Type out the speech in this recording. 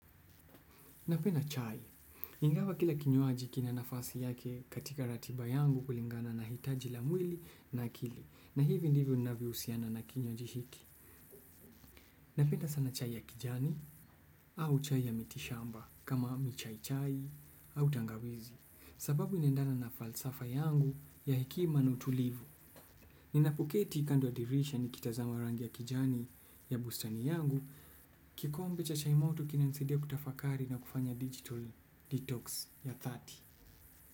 Napenda chai. Ingawa kila kinywaji kina nafasi yake katika ratiba yangu kulingana na hitaji la mwili na akili. Na hivi ndivyo ninavyohusiana na kinywaji hiki. Napenda sana chai ya kijani au chai ya mitishamba kama michaichai au tangawizi. Sababu inaendana na falsafa yangu ya hekima na utulivu. Ninapoketi kando ya dirisha nikitazama rangi ya kijani ya bustani yangu. Kikombe cha chai moti kinanisidia kutafakari na kufanya digital detox ya thati.